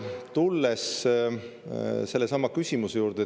Tulen sellesama küsimuse juurde.